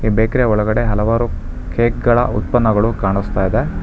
Bakery ಯ ಒಳಗಡೆ ಹಲವಾರು ಕೇಕ್ ಗಳ ಉತ್ಪನ್ನಗಳು ಕಾಣಿಸ್ತಾ ಇದೆ.